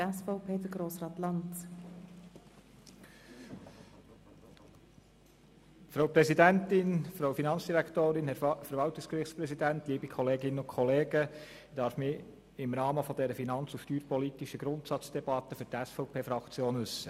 Ich darf mich im Rahmen dieser finanz- und steuerpolitischen Grundsatzdebatte für die SVP-Fraktion äussern.